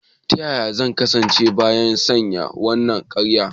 Yaya zan kasance bayan sanya wannan kayan?